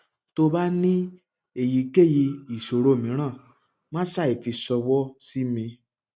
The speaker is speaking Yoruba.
tí o bá ní èyíkèyí ìṣòro mìíràn má ṣàìfi ṣọwọ sí mi